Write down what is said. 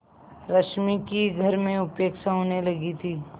रश्मि की घर में उपेक्षा होने लगी थी